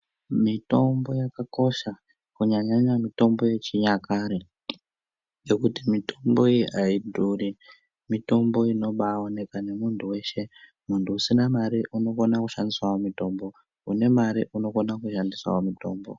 Mitombo yakakosha kunyanya-nyanya mitombo yechinyakare. Nekuti mitombo iyi haidhuri mitombo inobaoneka nemuntu veshe muntu usina mare unokona kushandisavo mitombo, une mare unokona kushandisavo mitombo.